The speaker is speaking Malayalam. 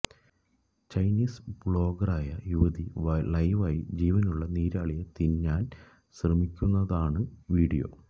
ചൈനീസ് വ്ളോഗറായ യുവതി ലൈവായി ജീവനുള്ള നീരാളിയെ തിന്നാന് ശ്രമിക്കുന്നതാണ് വീഡിയോ